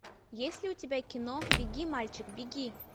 есть ли у тебя кино беги мальчик беги